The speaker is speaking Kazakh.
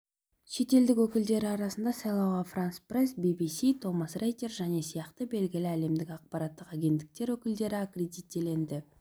шетелдік өкілдері арасында сайлауға франс-пресс би-би-си томас рейтер және сияқты белгілі әлемдік ақпараттық агенттіктер өкілдері аккредиттелді